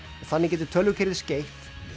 þannig getur tölvukerfið skeytt